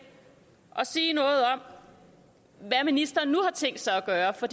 og sige noget om hvad ministeren nu har tænkt sig at gøre for